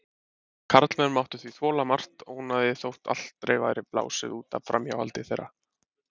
Karlmenn máttu því þola margt ónæðið þótt aldrei væri blásið út af framhjáhaldi þeirra.